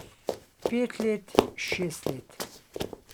Pet let, šest let.